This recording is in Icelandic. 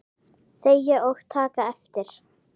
Þegja og taka eftir!